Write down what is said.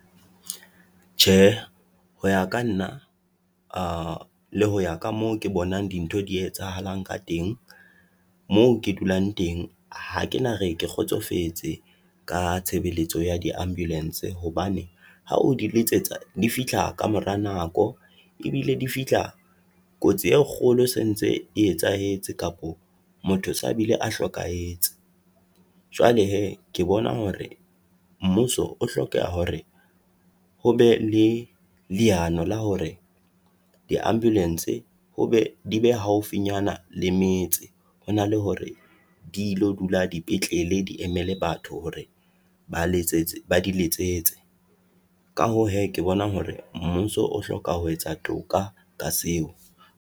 Tjhe, ho ya ka nna le ho ya ka moo ke bonang dintho di etsahalang ka teng. Moo ke dulang teng ha kena re ke kgotsofetse ka tshebeletso ya di ambulance, hobane ha o di letsetsa difihla ka mora nako, e bile difihla kotsi e kgolo e se ntse e etsahetse kapo motho sa bile a hlokahetse. Jwale hee, ke bona hore mmuso o hlokeha hore hobe le leano la hore di ambulance di be haufinyana le metse. Ho na le hore dilo dula dipetlele di emele batho hore ba diletsetse. Ka hoo hee, ke bona hore mmuso o hloka ho etsa toka ka seo.